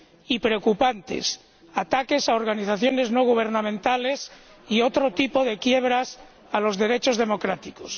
Y preocupantes ataques a organizaciones no gubernamentales y otro tipo de quiebras de los derechos democráticos.